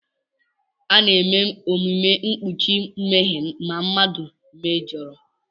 A na-eme omume mkpuchi mmehie ma mmadụ mejọrọ.